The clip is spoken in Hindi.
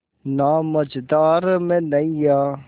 ना मझधार में नैय्या